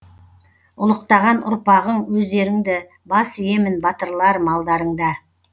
ұлықтаған ұрпағың өздеріңді бас иемін батырларым алдарыңда